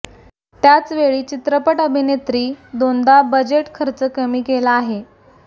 त्याच वेळी चित्रपट अभिनेत्री दोनदा बजेट खर्च कमी केला आहे